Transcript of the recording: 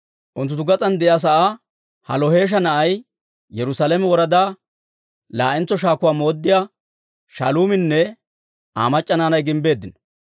Unttunttu gas'aan de'iyaa sa'aa Halloheesha na'ay, Yerusaalame woradaa laa'entso shaakuwaa mooddiyaa Shaaluuminne Aa mac'c'a naanay gimbbeeddino.